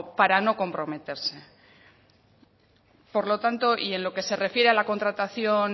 para no comprometerse por lo tanto y en lo que se refiere a la contratación